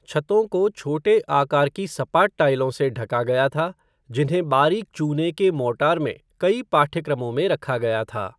छतों को छोटे आकार की सपाट टाइलों से ढका गया था, जिन्हें बारीक चूने के मोर्टार में कई पाठ्यक्रमों में रखा गया था।